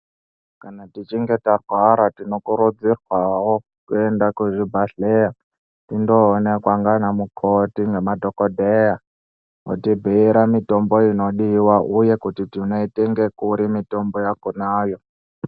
Kana techinge tarwara tinokurudzirwawo kuende kuzvibhehleya tindoonekwa nganamukoti nemadhokodheya otibhuyira mitombo inodiwa uye kuti tinoitenge kuri mitombo yakonayo.